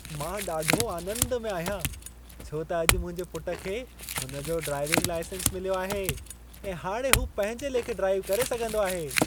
मां ॾाढो आनंदु में आहियां छो त अॼु मुंहिंजे पुटु खे हुन जो ड्राइविंग लाइसेंस मिल्यो आहे ऐं हाणे हू पंहिंजे लेखे ड्राइव करे सघंदो आहे।